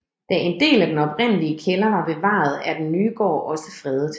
Da en del af den oprindelige kælder er bevaret er den nye gård også fredet